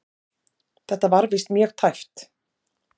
Þetta var víst mjög tæpt.